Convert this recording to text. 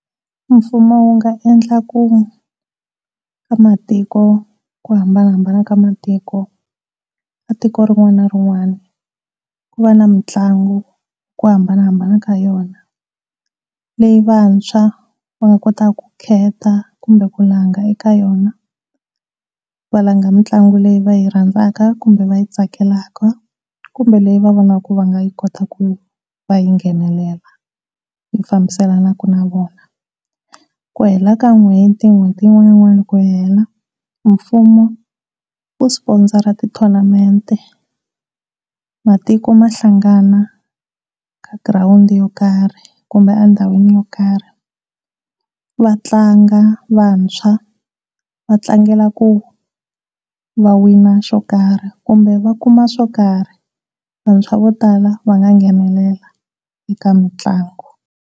Mfumo wu nga endla ku va matiko ku hambanahambana ka matiko, tiko rin'wana na rin'wana ku va na mitlangu ku hambanahambana ka yona. Leyi vantshwa va nga kotata ku khetha kumbe ku langha eka yona va langha mitlangu leyi va yi rhandzaka kumbe va yi tsakelaka kumbe leyi va vonaka va nga yi kotaka ku va yi nghenela i fambiselenaka na vona. Ku hela ka n'hweti, n'hweti yin'wana na yin'wana ku hela mfumo u sponsor ti tournament matiko ma hlangana ka girawundi yo karhi kumbe tindhawu to karhi yo va tlanga vantshwa va tlangela ku wina swo karhi kumbe va kuma swo karhi swa vantshwa vo tala va nga nghenelela eka mitlangu.